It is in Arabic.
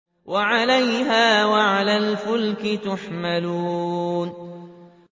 وَعَلَيْهَا وَعَلَى الْفُلْكِ تُحْمَلُونَ